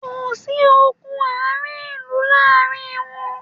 Kò sí ogun ààrin ìlú láàrin wọn